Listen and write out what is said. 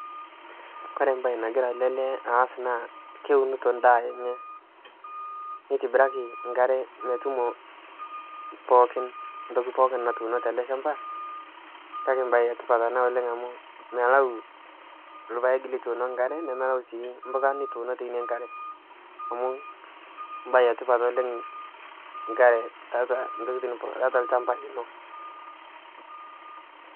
Kore mbaye nagira ale lee aas naa keunito indaa enye. Neitibiraki nkare metumo pookin, ntoki pooki natuuno tele ilchamba kake embaye etipata ana oleng amu melau ilpaek lituuno inkare, nemelau sii imbuka nituuno teine nkare amu imbaye etipat oleng nkare teatua ntokitoni ata ilchamba lino.